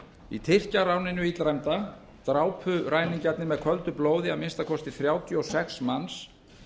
í tyrkjaráninu illræmda drápu ræningjarnir með köldu blóði að minnsta kosti þrjátíu og sex manns